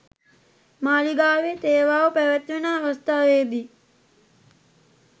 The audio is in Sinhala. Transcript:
මාලිගාවේ තේවාව පැවැත්වෙන අවස්ථාවේ දී